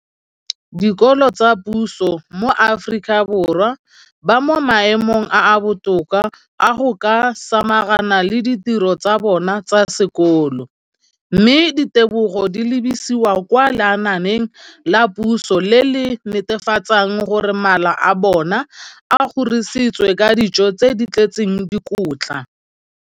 dikolo tsa puso mo Aforika Borwa ba mo maemong a a botoka a go ka samagana le ditiro tsa bona tsa sekolo, mme ditebogo di lebisiwa kwa lenaaneng la puso le le netefatsang gore mala a bona a kgorisitswe ka dijo tse di tletseng dikotla.